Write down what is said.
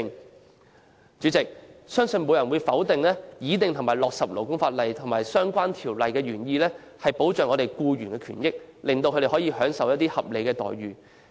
代理主席，相信沒有人會否定，擬訂和落實勞工法例及相關條例，原意是保障僱員權益，讓他們享有合理待遇。